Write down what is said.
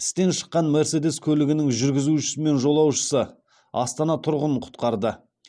істен шыққан мерседес көлігінің жүргізушісі мен жолаушысы астана тұрғынын құтқарды